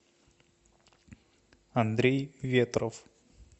андрей ветров